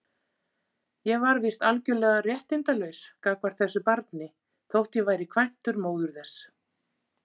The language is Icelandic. Ég var víst algjörlega réttindalaus gagnvart þessu barni, þótt ég væri kvæntur móður þess.